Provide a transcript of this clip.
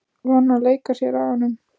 Var hún að leika sér að honum?